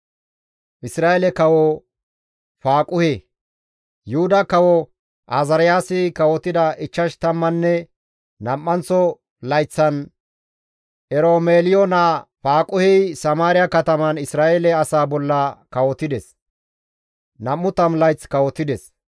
Yuhuda kawo Azaariyaasi kawotida ichchash tammanne nam7anththo layththan Eromeliyo naa Faaquhey Samaariya kataman Isra7eele asaa bolla kawotides; 20 layth kawotides.